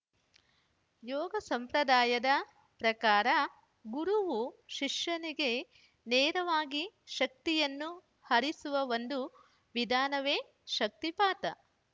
ಯೋಗ ಸಂಪ್ರದಾಯದ ಪ್ರಕಾರ ಗುರುವು ಶಿಷ್ಯನಿಗೆ ನೇರವಾಗಿ ಶಕ್ತಿಯನ್ನು ಹರಿಸುವ ಒಂದು ವಿಧಾನವೇ ಶಕ್ತಿಪಾತ